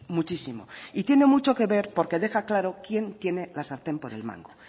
muchísimo y tiene mucho que ver porque deja claro quién tiene la sartén por el mango